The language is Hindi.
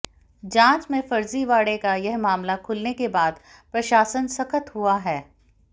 जांच में फर्जीवाड़े का यह मामला खुलने के बाद प्रशासन सख्त हुआ है